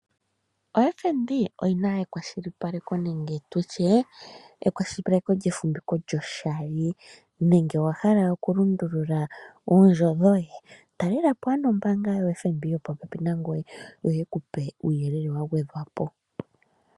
OFnb oyina ekwashilipaleko nenge tutye ekwashilipaleko lyefumbiko lyoshali nenge owa hala okulundulula oondjo dhoye talelepo ano ombaanga yoFnb yopopepi nangoye yo yekupe uuyelele wagwedhwapo.